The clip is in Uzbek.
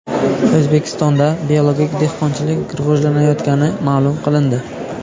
O‘zbekistonda biologik dehqonchilik rivojlanayotgani ma’lum qilindi.